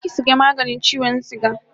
Je ki saya maganin chiwon suga